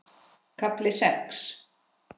KAFLI SEX